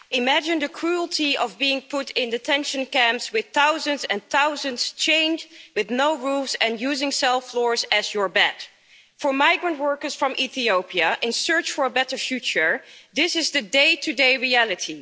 Madam President, imagine the cruelty of being put in detention camps with thousands and thousands, chained with no roofs and using cell floors as your bed. For migrant workers from Ethiopia in search of a better future, this is the day to day reality.